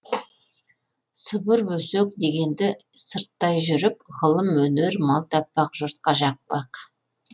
сыбыр өсек дегенді сырттай жүріп ғылым өнер мал таппақ жұртқа жақпақ